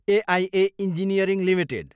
AIA engineering Ltd